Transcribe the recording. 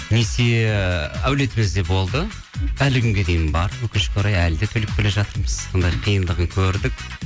несие әулетімізде болды әлі күнге дейін бар өкінішке орай әлі де төлеп келе жатырмыз сондай қиындығын көрдік